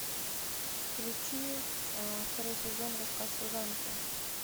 включи второй сезон рассказ служанки